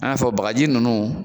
An y'a fɔ bagaji ninnu